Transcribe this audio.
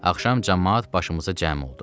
Axşam camaat başımıza cəm oldu.